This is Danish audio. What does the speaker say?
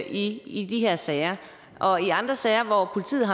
i i de her sager og i andre sager hvor politiet